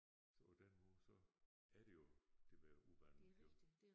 Så på den måde så er det jo det ved at udvande jo